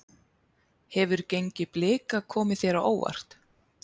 Hefur gengi Blika komið þér á óvart?